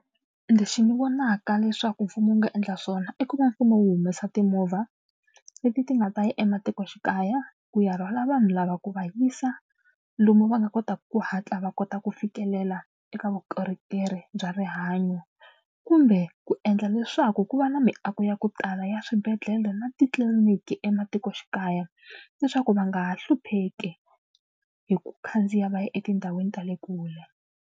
Lexi ni vonaka leswaku mfumo wu nga endla swona i ku va mfumo wu humesa timovha leti ti nga ta ya ematikoxikaya ku ya rhwala vanhu lava ku va yisa lomu va nga kotaka ku hatla va kota ku fikelela eka vukorhokeri bya rihanyo kumbe ku endla leswaku ku va na miako ya ku tala ya swibedhlele na titliliniki ematikoxikaya leswaku va nga ha hlupheki hi ku khandziya va ya etindhawini ta le kule.